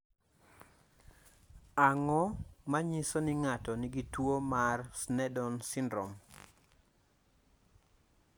Ang�o ma nyiso ni ng�ato nigi tuo mar Sneddon syndrome?